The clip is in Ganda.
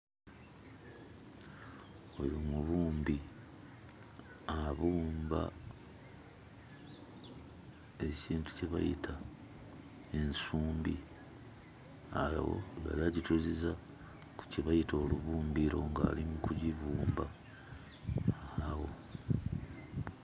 Oyo mubumbi. Abumba ekintu kye bayita ensumbi, awo yali agituuziza ku kye bayita olubumbiro ng'ali mu kugibumba awo...